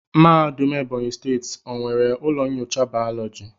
Mahadum ebonyi steeti o nwere ụlọ nyocha biology?